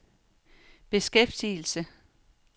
beskæftigelse